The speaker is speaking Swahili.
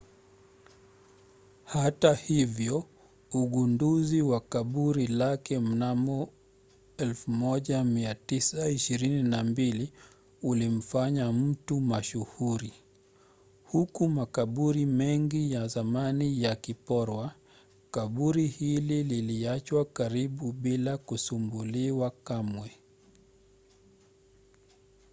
hata hivyo ugunduzi wa kaburi lake mnamo 1922 ulimfanya mtu mashuhuri. huku makaburi mengi ya zamani yakiporwa kaburi hili liliachwa karibu bila kusumbuliwa kamwe